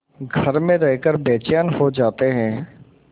घर में रहकर बेचैन हो जाते हैं